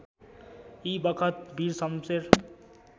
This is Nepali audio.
यी बखत वीरशमशेर